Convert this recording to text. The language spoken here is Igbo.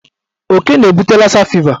Oke na-ebute lasa fiva.